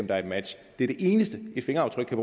er et match det er det eneste et fingeraftryk kan